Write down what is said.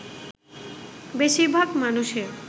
বেশির ভাগ মানুষের